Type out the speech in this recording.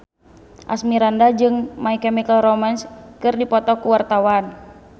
Asmirandah jeung My Chemical Romance keur dipoto ku wartawan